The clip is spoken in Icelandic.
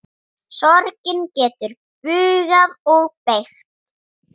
Þraut ekki þor.